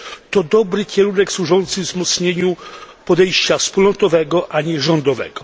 To dobry kierunek służący wzmocnieniu podejścia wspólnotowego, a nie rządowego.